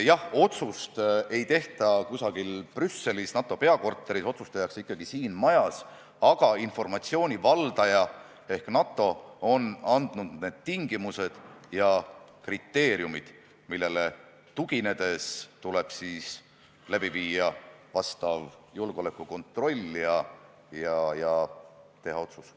Jah, otsust ei tehta mitte kusagil Brüsselis NATO peakorteris, vaid otsus tehakse ikkagi siin majas, aga informatsiooni valdaja ehk NATO on andnud tingimused ja kriteeriumid, millele tuginedes tuleb teha vastav julgeolekukontroll ja ka otsus.